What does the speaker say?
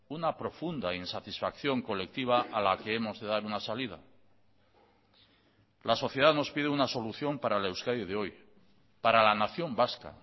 una profunda insatisfacción colectiva a la que hemos de dar una salida la sociedad nos pide una solución para la euskadi de hoy para la nación vasca